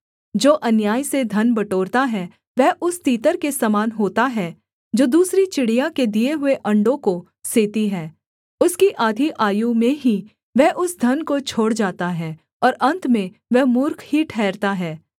जो अन्याय से धन बटोरता है वह उस तीतर के समान होता है जो दूसरी चिड़िया के दिए हुए अण्डों को सेती है उसकी आधी आयु में ही वह उस धन को छोड़ जाता है और अन्त में वह मूर्ख ही ठहरता है